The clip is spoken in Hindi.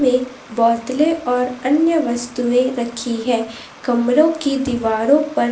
में और अन्य वस्तुएं रखी है कमरों की दीवारों पर--